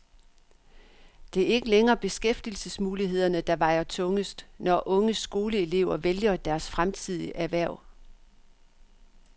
Det er ikke længere beskæftigelsesmulighederne, der vejer tungest, når unge skoleelever vælger deres fremtidige erhverv.